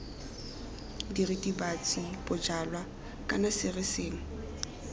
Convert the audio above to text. diritibatsi bojalwa kana sere sengwe